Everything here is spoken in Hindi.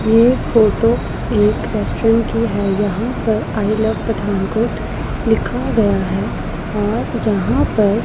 ये फोटो एक रेस्टोरेंट की है यहां पर आई लव पठानकोट लिखा गया है और यहां पर --